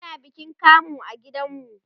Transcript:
ana bikin kamu a gidan mu